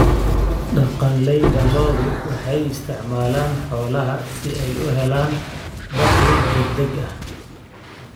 Dhaqanleyda lo'du waxay isticmaalaan xoolaha si ay u helaan dakhli degdeg ah.